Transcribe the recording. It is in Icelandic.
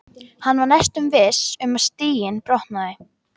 Hann var næstum viss um að stiginn brotnaði.